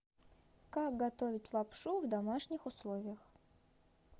как готовить лапшу в домашних условиях